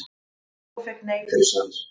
Og fékk nei fyrir svar?